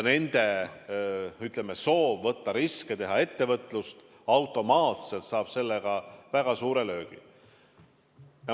Nende soov võtta riske, teha ettevõtlust saab sellega automaatselt väga suure löögi.